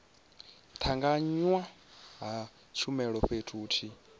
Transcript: tanganywa ha tshumelo fhethu huthihi